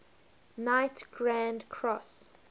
knight grand cross